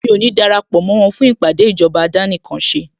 Mí ò ní darapọ̀ mó wọn fún ìpàdé ìjọba àdánìkanṣe